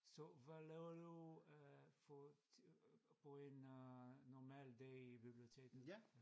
Så hvad laver du øh for for en øh normal dag i biblioteket?